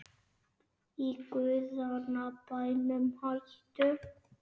Í guðanna bænum hættu